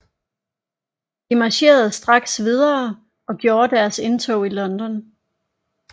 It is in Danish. De marcherede straks videre og gjorde deres indtog i London